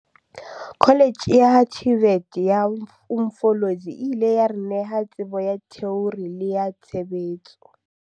Kholetjhe ya TVET ya Umfolozi e ile ya re neha tsebo ya theori le ya tshebetso.